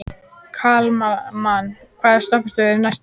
Kalman, hvaða stoppistöð er næst mér?